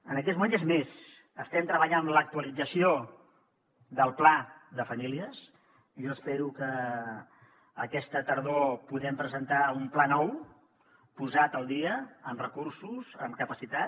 en aquests moments és més estem treballant en l’actualització del pla de famílies jo espero que aquesta tardor puguem presentar un pla nou posat al dia amb recursos amb capacitat